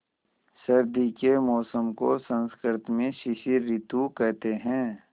सर्दी के मौसम को संस्कृत में शिशिर ॠतु कहते हैं